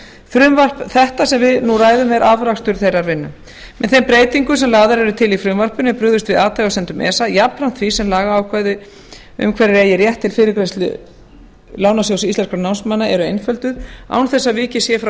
frumvarp þetta sem við nú ræðum er afrakstur þeirrar vinnu með þeim breytingum sem lagðar eru til í frumvarpinu er brugðist við athugasemdum esa jafnframt því sem lagaákvæði um hverjir eigi rétt til fyrirgreiðslu lánasjóðs íslenskra námsmanna eru einfölduð án þess að vikið sé frá